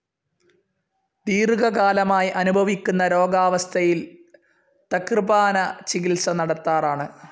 ദീർഘകാലമായി അനുഭവിക്കുന്ന രോഗാവസ്ഥയിൽ തക്രപാന ചികിത്സ നടത്താറാണ്.